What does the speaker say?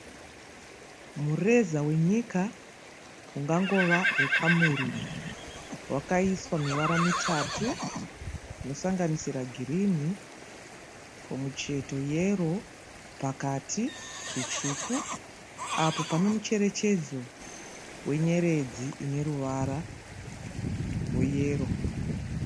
Mureza wenyika ungangove weCameroon wakaiswa mivara mitatu inosanganisira girini kumucheto yero pakati zvitsvuku apo pane mucherechedzo wenyeredzi ineruvara rweyero.